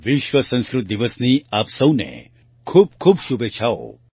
વિશ્વ સંસ્કૃત દિવસની આપ સૌને ખૂબ ખૂબ શુભેચ્છાઓ